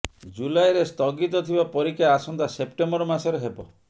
ଜୁଲାଇରେ ସ୍ଥଗିତ ଥିବା ପରୀକ୍ଷା ଆସନ୍ତା ସେପ୍ଟେମ୍ବର ମାସରେ ହେବ